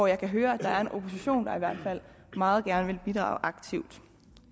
jeg kan høre at der er en opposition der i hvert fald meget gerne vil bidrage aktivt